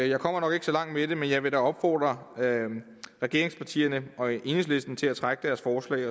jeg kommer nok ikke så langt med det men jeg vil da opfordre regeringspartierne og enhedslisten til at trække deres forslag